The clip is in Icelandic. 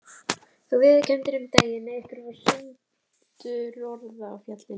Þú viðurkenndir um daginn að ykkur varð sundurorða á fjallinu.